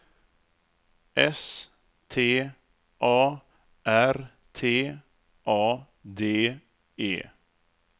S T A R T A D E